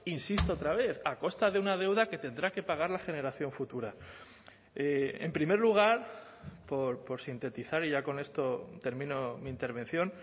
insisto otra vez a costa de una deuda que tendrá que pagar la generación futura en primer lugar por sintetizar y ya con esto termino mi intervención